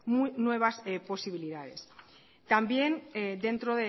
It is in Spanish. nuevas posibilidades también dentro